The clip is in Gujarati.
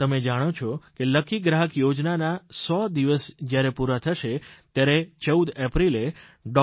તમે જાણો છો કે લકી ગ્રાહક યોજનાના સો દિવસ જયારે પૂરા થશે ત્યારે 14 એપ્રિલે ડૉ